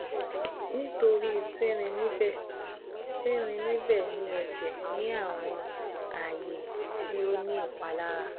Nitori ti rin nibẹ ti rin nibẹ ni ẹjẹ ni awọn aaye ti o ni ipalara